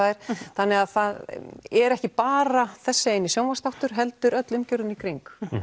þannig að það er ekki bara þessi eini sjónvarpsáttur heldur öll umgjörðin í kringum